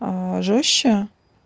жёстче